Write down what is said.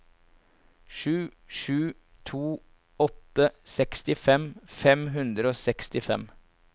sju sju to åtte sekstifem fem hundre og sekstifem